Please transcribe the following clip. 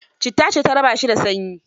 Citta ce ta raba shi da sanyi.